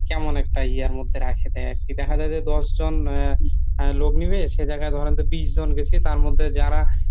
কেমন একটা ইয়ার মধ্যে রাখি দেয় আরকি। দেখা যায় যে দশজন আহ লোক নিবে সে জায়গায় ধরেন যে বিশজন গেসি তার মধ্যে যারা